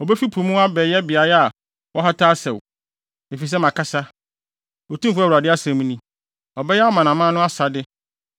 Obefi po mu abɛyɛ beae a wɔhata asau, efisɛ makasa. Otumfo Awurade asɛm ni. Ɔbɛyɛ amanaman no asade,